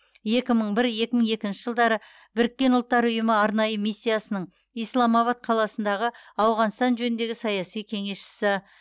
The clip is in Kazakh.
екі мың бір екі мың екінші жылдары біріккен ұлттар ұйымы арнайы миссиясының исламабад қаласындағы ауғанстан жөніндегі саяси кеңесшісі